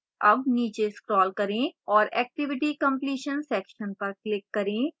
अब नीचे scroll करें और activity completion section पर click करें